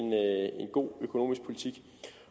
god økonomisk politik